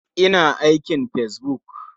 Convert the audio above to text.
Ina ia yin fesbuk.